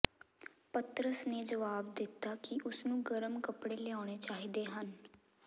ਪਤਰਸ ਨੇ ਜਵਾਬ ਦਿੱਤਾ ਕਿ ਉਸਨੂੰ ਗਰਮ ਕੱਪੜੇ ਲਿਆਉਣੇ ਚਾਹੀਦੇ ਹਨ